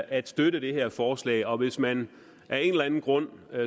at støtte det her forslag og hvis man af en eller anden grund